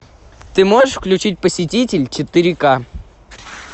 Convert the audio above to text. ты можешь включить посетитель четыре к